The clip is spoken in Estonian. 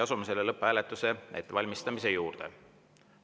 Asume lõpphääletuse ettevalmistamise juurde.